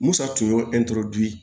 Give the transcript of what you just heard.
Musa tun ye